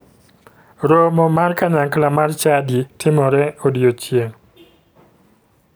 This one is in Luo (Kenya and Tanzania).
Romo mar kanyakla mar chadi timore odiechieng